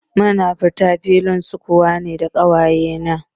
Mun fita filin sukuwa ne da ƙawaye na